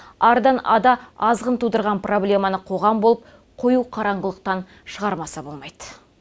ардан ада азғын тудырған проблеманы қоғам болып қою қараңғылықтан шығармаса болмайды